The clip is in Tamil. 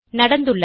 நடந்துள்ளது